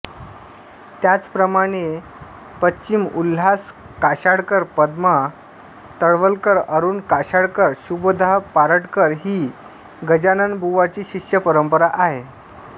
त्याचप्रमाणे पं उल्हास कशाळकर पद्मा तळवलकर अरुण कशाळकर शुभदा पराडकर ही गजाननबुवांची शिष्य परंपरा आहे